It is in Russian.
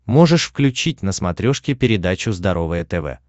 можешь включить на смотрешке передачу здоровое тв